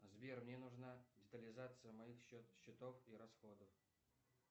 сбер мне нужна детализация моих счетов и расходов